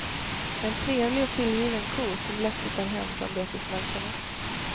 En trevlig och tillgiven ko som lätt hittar hem från betesmarkerna.